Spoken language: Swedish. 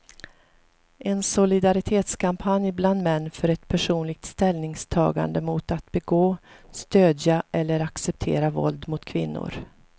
En solidaritetskampanj bland män för ett personligt ställningstagande mot att begå, stödja eller acceptera våld mot kvinnor.